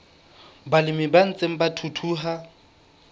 balemi ba ntseng ba thuthuha